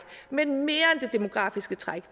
men mere end det demografiske træk